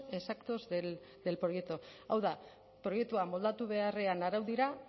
exactos del proyecto hau da proiektua moldatu beharrean araudira